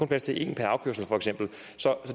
plads til et per afkørsel for eksempel så